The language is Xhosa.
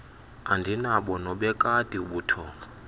andinabo nobekati ubuthongo